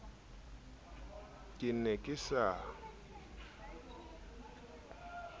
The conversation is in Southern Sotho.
ke ne ke se na